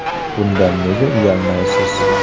Bundan nega uyalmaysiz?